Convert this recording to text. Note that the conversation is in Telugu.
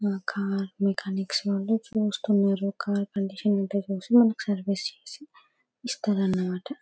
ఆ కార్ చూస్తున్నారు ఆ కార్ కండిషన్ ఏంటో చూసి మనకి సర్వీస్ చేసి ఇస్త్రాన్నమాట